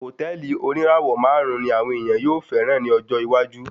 Hòtẹ́ẹ̀lì oníràwọ̀ máàrún ní àwọn ènìyàn yóò fẹràn ní ọjọ́ iwájú.